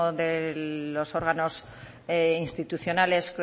de los órganos institucionales